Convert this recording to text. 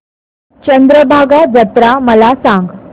चंद्रभागा जत्रा मला सांग